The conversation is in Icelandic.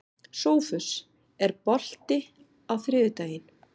Sófus, er bolti á þriðjudaginn?